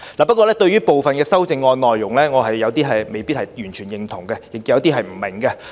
不過，對於部分修正案內容，我未必完全認同，亦有些不明白。